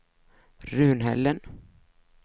Runhällen